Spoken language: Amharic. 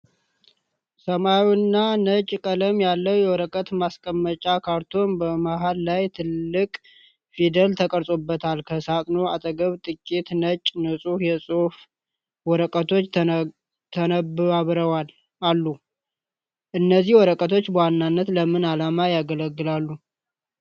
ሰማያዊና ነጭ ቀለም ያለው የወረቀት ማስቀመጫ ካርቶን፣ በመሃል ላይ ትልቅ ፊደል ተቀርጾበታል። ከሳጥኑ አጠገብ ጥቂት ነጭ፣ ንጹህ የጽሑፍ ወረቀቶች ተነባብረው አሉ። እነዚህ ወረቀቶች በዋናነት ለምን ዓላማ ያገለግላሉ?